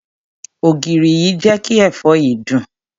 Ògìrì yìí jé kí èfó yìí dùn.